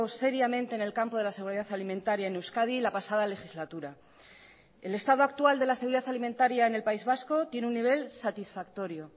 seriamente en el campo de la seguridad alimentaria en euskadi la pasada legislatura el estado actual de la seguridad alimentaria en el país vasco tiene un nivel satisfactorio